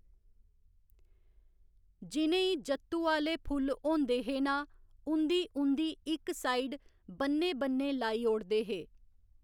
जि'नें ई जत्तू आह्‌ले फुल्ल होंदे हे ना उं'दी उं'दी इक साइड बन्ने बन्ने लाई ओड़दे हे